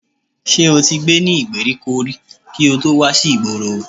Ṣé o ti gbé ní ìgbèríko rí kí o tó wà sí ìgboro?